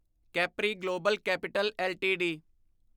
capri global capital LTD